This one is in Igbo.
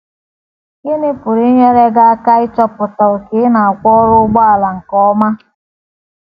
Gịnị pụrụ inyere gị aka ịchọpụta ókè ị na - akwọru ụgbọala nke ọma?